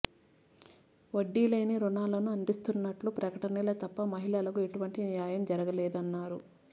వడ్డీలేని రుణాలను అందిస్తున్నట్లు ప్రకటనలే తప్ప మహిళలకు ఎటువంటి న్యాయం జరగలేదన్నారు